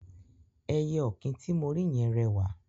Ẹyẹ ọ̀kín ti mo rí yẹn rẹwà.